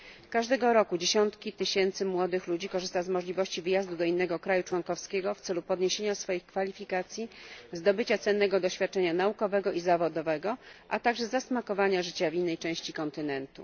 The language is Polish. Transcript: Każdego roku dziesiątki tysięcy młodych ludzi korzysta z możliwości wyjazdu do innego państwa członkowskiego w celu podniesienia swoich kwalifikacji, zdobycia cennego doświadczenia naukowego i zawodowego, a także zasmakowania życia w innej części kontynentu.